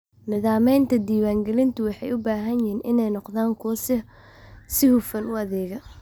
Nidaamyada diwaangelintu waxay u baahan yihiin inay noqdaan kuwo si hufan u adeega.